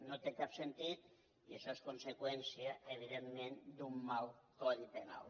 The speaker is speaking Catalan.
no té cap sentit i això és conseqüència evidentment d’un mal codi penal